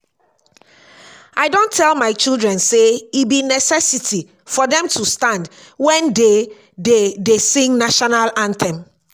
i don tell my children say e be necessity for dem to stand wen dey dey dey sing national anthem